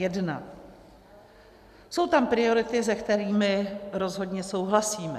Jsou tam priority, se kterými rozhodně souhlasíme.